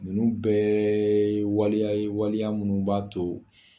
Ninnu bɛɛ ye waliya ye waliya minnu b'a to